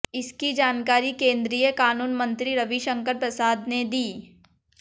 इसकी जानकारी केंद्रीय कानून मंत्री रविशंकर प्रसाद ने दी